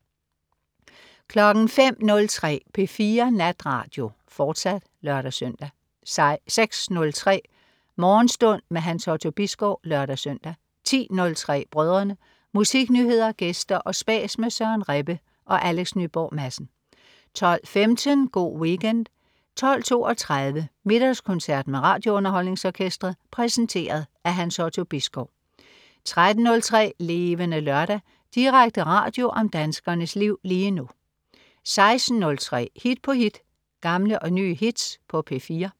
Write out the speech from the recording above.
05.03 P4 Natradio, fortsat (lør-søn) 06.03 Morgenstund. Hans Otto Bisgaard (lør-søn) 10.03 Brødrene. Musiknyheder, gæster og spas med Søren Rebbe og Alex Nyborg Madsen 12.15 Go' Weekend 12.32 Middagskoncert med RadioUnderholdningsOrkestret. Præsenteret af Hans Otto Bisgaard 13.03 Levende Lørdag. Direkte radio om danskernes liv lige nu 16.03 Hit på hit. Gamle og nye hits på P4